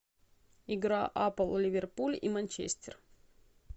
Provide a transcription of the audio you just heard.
игра апл ливерпуль и манчестер